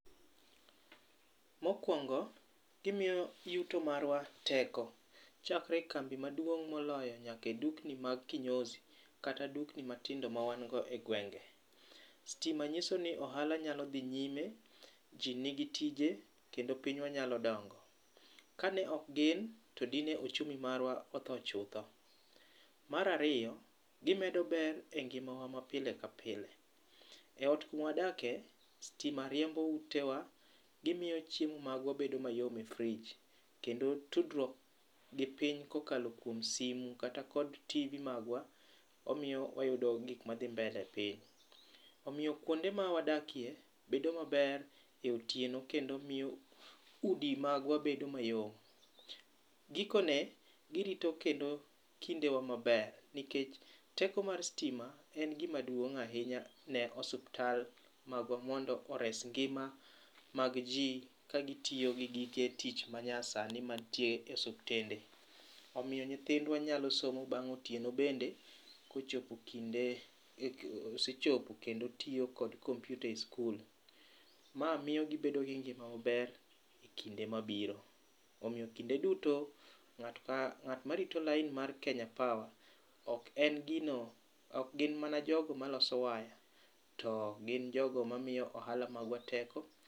Mokuongo, gimiyo yuto marwa teko, chakre e kambi maduong' moloyo nyaka e dukni mag kinyozi kata dukni matindo mawan go e gwenge. Stima nyiso ni ohala nyalo dhi nyime, ji nigi tije kendo pinywa nyalo dongo. Kane ok gin, to dine ochumi marwa otho chutho. Mar ariyo gimedo ber e ngimawa ma pile ka pile. E ot kumwadake, stima riembo utewa, gimiyo chiemo magwa bedo mayom e fridge kendo tudruok gi piny kokalo kuom simo kata tv magwa, omiyo wayudo gik madhi mbele e piny. Omiyo kuonde ma wadakie bedo maber e otieno kendo miyo udi magwa bedo mayom. Gikone, girito kendo kindewa maber, nikech teko mar stima en gima duong' ahinya ne osuptal magwa mondo ores ngima mag ji ka gitiyo gi gige tich ma nyasani mantiere e osuptende. Omiyo nyithindwa nyalo somo bang' otieno bende kochopo kinde osechopo kendo otiyo kod komputa e skul. Ma miyo gibedo gi ngima maber e kinde mabiro. Omiyo kinde duto, ng'at ma ng'at ma rito line mar Kenya Power, ok en gino, ok gin mana jogo ma loso waya, to gin jogo ma miyo ohala magwa teko.